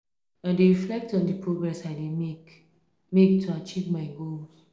i dey reflect on di progress i dey make make to achieve my goals